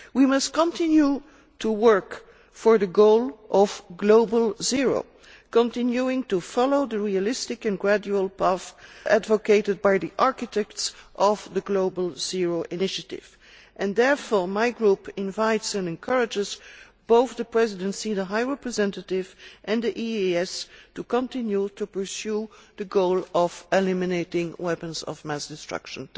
We must continue to work for the goal of Global Zero, continuing to follow the realistic and gradual path advocated by the architects of the Global Zero initiative, and therefore my group invites and encourages the Presidency, the High Representative and the EEAS to continue to pursue the goal of eliminating weapons of mass destruction.